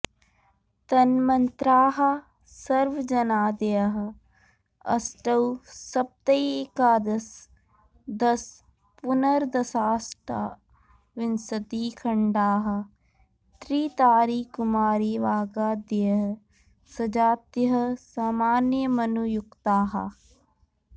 तन्मन्त्राः सर्वजनादयः अष्टौ सप्तैकादश दश पुनर्दशाष्टाविंशतिखण्डाः त्रितारीकुमारीवागादयः सजातयः सामान्यमनुयुक्ताः